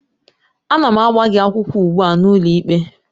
Ana m agba gị akwụkwọ ugbu a n'ụlọikpe